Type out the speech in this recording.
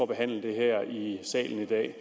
behandle det her i salen i dag